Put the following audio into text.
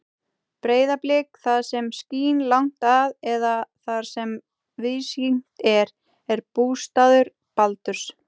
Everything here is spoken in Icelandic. Breiðablik, það sem skín langt að eða þar sem víðsýnt er, er bústaður Baldurs.